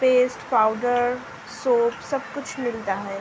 Paste powder soap सब कुछ मिलता है।